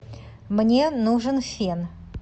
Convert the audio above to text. мне нужен фен